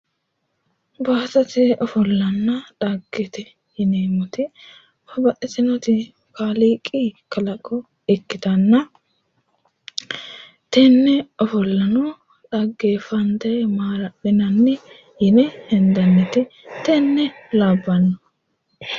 Baattote ofollanna xaggete yineemmoti babbaxxitinoti kaaliiqi kalaqo ikkitanna tenne ofollano xaggeeffante maala'linanni yine hendannite tenne labbanno